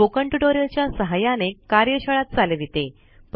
spoken tutorial च्या सहाय्याने कार्यशाळा चालविते